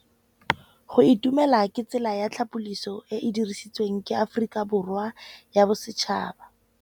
Go itumela ke tsela ya tlhapolisô e e dirisitsweng ke Aforika Borwa ya Bosetšhaba.